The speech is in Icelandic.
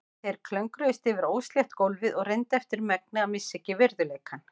Þeir klöngruðust yfir óslétt gólfið og reyndu eftir megni að missa ekki virðuleikann.